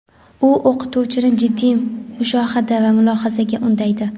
U o‘quvchini jiddiy mushohada va mulohazaga undaydi.